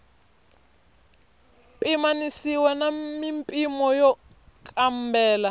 pimanisiwa na mimpimo ya nkambelo